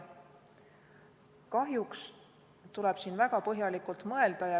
Kahjuks tuleb siin väga põhjalikult mõelda.